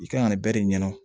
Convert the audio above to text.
I kan ka nin bɛɛ de ɲɛdɔn